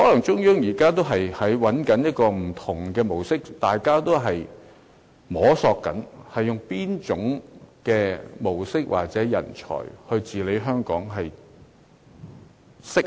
中央政府可能仍在摸索不同模式，究竟應用哪種模式或哪種人才治理香港才最適合。